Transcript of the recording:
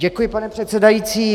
Děkuji, pane předsedající.